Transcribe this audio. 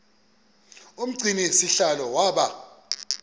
umgcini sihlalo waba